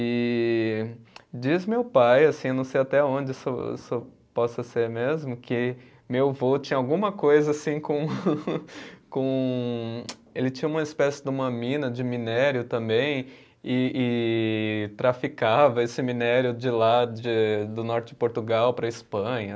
E diz meu pai, assim, não sei até onde isso isso possa ser mesmo, que meu vô tinha alguma coisa assim com, com, ele tinha uma espécie de uma mina de minério também e e traficava esse minério de lá, de do norte de Portugal para a Espanha.